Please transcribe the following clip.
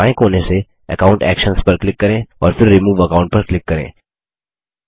नीचे बाएँ कोने से अकाउंट एक्शन्स पर क्लिक करें और फिर रिमूव अकाउंट पर क्लिक करें